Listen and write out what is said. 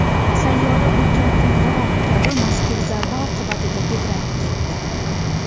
Sayyora ulkan qo‘ng‘iroq kabi mazkur zarba oqibatida tebranib ketdi.